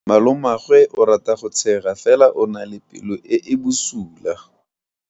Malomagwe o rata go tshega fela o na le pelo e e bosula.